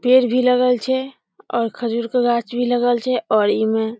पेड़ भी लगल छै और खजूर के गाछ भी लगल छै और इमे --